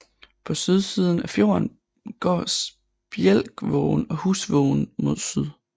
På sydsiden af fjorden går Spjelkvågen og Husvågen mod syd